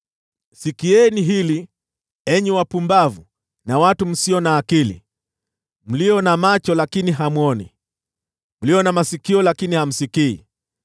Sikieni hili, enyi watu wapumbavu, msio na akili, mlio na macho lakini hamwoni, mlio na masikio lakini hamsikii: